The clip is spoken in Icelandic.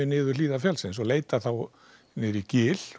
niður hlíðar fjallsins og leitar niður í gil